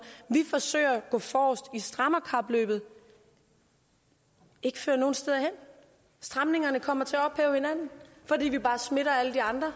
vi forsøger at gå forrest i strammerkapløbet ikke fører nogen steder hen stramningerne kommer til at ophæve hinanden fordi vi bare smitter alle de andre og